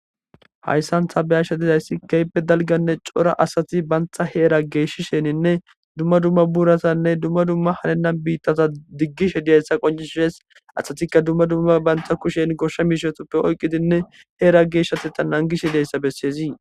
Hayssantha beyasha dizayssi keyppe dalganne cora asati bantha heera geeshisheninne dumma dumma buurasanne dumma dumma halenan biittata diggishe diyayssa qoncishses asatikka dumma dumma bantha kushen goshsha miishetuppe oyqqidinne heera geeshshati ta nangishe deyssa besseezi.